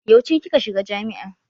Yauce kika shiga jami'a.